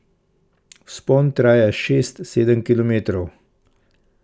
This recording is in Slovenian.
Vzpon traja šest, sedem kilometrov.